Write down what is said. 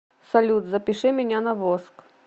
салют запиши меня на воск